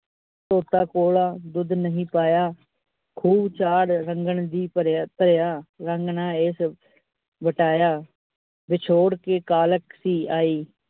coca cola ਦੁੱਧ ਨਹੀਂ ਪਾਇਆ, ਖੂਬ ਚਾਅ ਰੰਗਣ ਦਾ ਭਰਿਆ, ਰੰਗ ਨਾ ਏਸ ਵਟਾਇਆ, ਵਿਛੋੜ ਦੀ ਕਾਲਕ ਸੀ ਆਈ ।